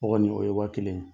O kɔni, o ye waa kelen ye.